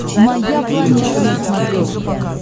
моя планета на смотрешке